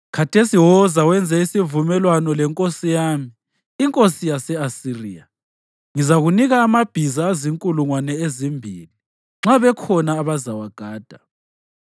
Khathesi woza wenze isivumelwano lenkosi yami, inkosi yase-Asiriya: Ngizakunika amabhiza azinkulungwane ezimbili nxa bekhona abazawagada!